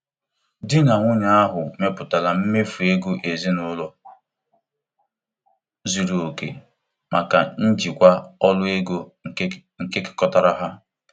Di na nwunye ahụ mepụtara mmefu ego ezinụlọ zuru oke maka njikwa ọrụ ego nke nkekọrịta ha.